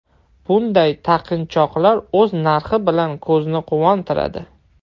Bunday taqinchoqlar o‘z narxi bilan ko‘zni quvontiradi.